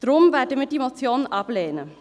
Deshalb werden wir diese Motion ablehnen.